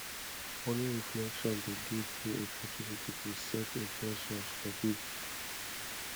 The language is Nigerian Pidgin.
morning reflection dey give me opportunity to set in ten tions for day